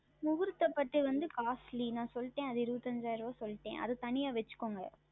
முகூர்த்த பட்டு வந்து Costly நான் சொல்லிட்டேன் அது இருபத்தைந்தாயிரம் சொல்லிட்டேன் அது தனியாக வைத்து கொள்ளுங்கள்